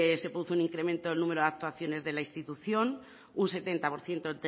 se produce un incremento del número de actuaciones de la institución un setenta por ciento